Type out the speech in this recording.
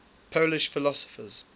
polish philosophers